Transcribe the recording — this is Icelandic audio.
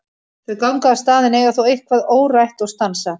Þau ganga af stað en eiga þó eitthvað órætt og stansa.